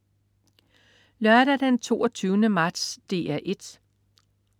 Lørdag den 22. marts - DR 1: